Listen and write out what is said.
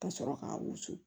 Ka sɔrɔ k'a wusu